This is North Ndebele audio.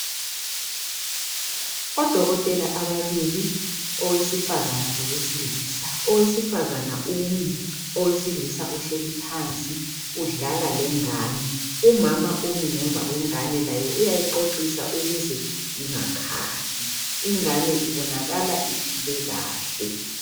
odokotela ababili oesifazana lowesilisa owesifazana umi owesilisa uhleli phansi udlala lengane umama umi ngemva kwengane laye uyayixoxisa ukuze ingakhali ingane ibonakala iphile kahle